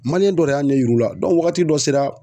dɔ de y'a ɲɛ yir'u la wagati dɔ sera.